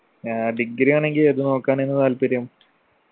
ആ degree ആണെങ്കിൽ ഏത് നോക്കാനായിരുന്നു താല്പര്യം